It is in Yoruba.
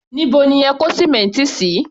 Níbo ni ẹ kó sìmẹ́ǹtì sí?